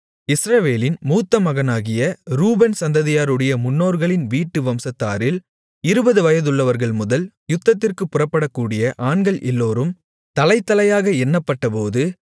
இஸ்ரவேலின் மூத்தமகனாகிய ரூபன் சந்ததியாருடைய முன்னோர்களின் வீட்டு வம்சத்தாரில் இருபது வயதுள்ளவர்கள்முதல் யுத்தத்திற்குப் புறப்படக்கூடிய ஆண்கள் எல்லோரும் தலைதலையாக எண்ணப்பட்டபோது